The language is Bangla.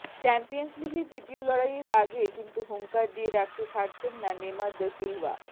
চ্যাম্পিয়ন্স লিগের দ্বিতীয় লড়াইয়ের আগে কিন্তু হুঙ্কার দিয়ে রাখতে ছাড়ছেন না নেমার দা সিলভা